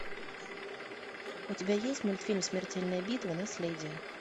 у тебя есть мультфильм смертельная битва наследие